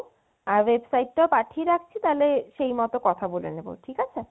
আর website টা পাঠিয়ে রাখছি সেই মতো কথা বলে নিবো, ঠিক আছে?